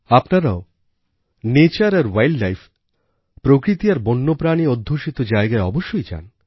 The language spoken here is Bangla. আপনারাও নেচার আরwildlife প্রকৃতি আর বন্যপ্রাণীঅধ্যুষিত জায়গায়অবশ্যই যান